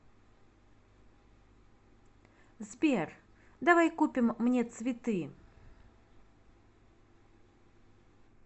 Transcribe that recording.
сбер давай купим мне цветы